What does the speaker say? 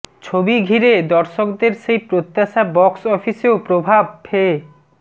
ছবি ঘিরে দর্শকদের সেই প্রত্যাশা বক্স অফিসেও প্রভাব ফে